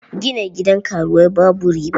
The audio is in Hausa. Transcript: Gina gidan karuwai babu riba.